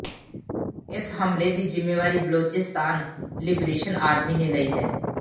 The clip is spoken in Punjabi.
ਇਸ ਹਮਲੇ ਦੀ ਜ਼ਿੰਮੇਵਾਰੀ ਬਲੋਚਿਸਚਾਨ ਲਿਬਰੇਸ਼ਨ ਆਰਮੀ ਨੇ ਲਈ ਹੈ